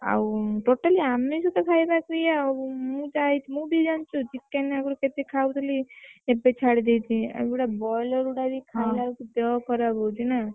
ଆଉ totally ଆମିଷ ତ ଖାଇବାକୁ ଇଏ ଆଉ ମୁଁ ମୁଁ ବି ଜାଣିଛି chicken ଆଗରୁ ମୁଁ କେତେ ଖାଉଥିଲି ଏବେ ଛାଡି ଦେଇଛି ଏଇ ବଇଲର ଗୁଡାକ ବି ଖାଇଲା ବେଳକୁ ଦେହ ଖରାପ ହଉଛି ନା।